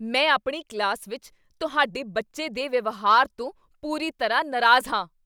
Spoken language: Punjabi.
ਮੈਂ ਆਪਣੀ ਕਲਾਸ ਵਿੱਚ ਤੁਹਾਡੇ ਬੱਚੇ ਦੇ ਵਿਵਹਾਰ ਤੋਂ ਪੂਰੀ ਤਰ੍ਹਾਂ ਨਾਰਾਜ਼ ਹਾਂ!